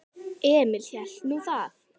Emil hélt nú það.